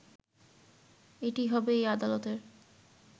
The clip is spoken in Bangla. এটিই হবে এই আদালতের